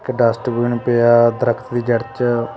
ਇੱਕ ਡਸਟਬਿਨ ਪਿਆ ਦਰਖਤ ਦੀ ਜੜ੍ਹ ਵਿੱਚ --